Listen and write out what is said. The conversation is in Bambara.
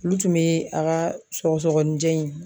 Olu tun be a ka sɔgɔsɔgɔninjɛ in